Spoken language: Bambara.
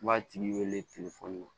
I b'a tigi wele